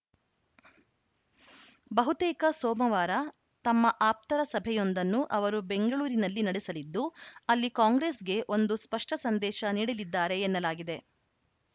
ಬಹುತೇಕ ಸೋಮವಾರ ತಮ್ಮ ಆಪ್ತರ ಸಭೆಯೊಂದನ್ನು ಅವರು ಬೆಂಗಳೂರಿನಲ್ಲಿ ನಡೆಸಲಿದ್ದು ಅಲ್ಲಿ ಕಾಂಗ್ರೆಸ್‌ಗೆ ಒಂದು ಸ್ಪಷ್ಟಸಂದೇಶ ನೀಡಲಿದ್ದಾರೆ ಎನ್ನಲಾಗಿದೆ